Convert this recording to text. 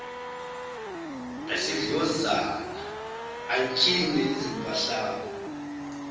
ngesidlozana bantshinge izimpahlana